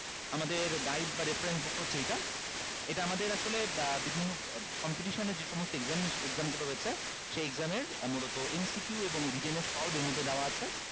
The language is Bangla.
আমাদের guide বা reference book হচ্ছে এইটা এটা আমাদের আসলে বিভিন্ন competition এ যে সমস্ত exam গুলো রয়েছে সে exam এর মূলত MCQ এবং written এর solve এর মধ্যে দেওয়া আছে